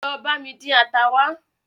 Lọ bami dín ata wa